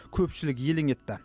көпшілік елең етті